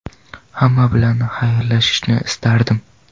Hamma bilan xayrlashishni istardim.